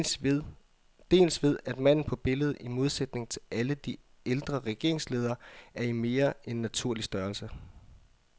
Dels ved at manden på billedet, i modsætning til alle de ældre regeringsledere, er i mere end naturlig størrelse.